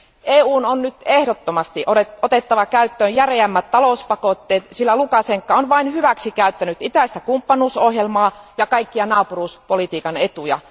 EUn on nyt ehdottomasti otettava käyttöön järeämmät talouspakotteet, sillä Lukašenka on vain hyväksikäyttänyt itäistä kumppanuusohjelmaa ja kaikkia naapuruuspolitiikan etuja.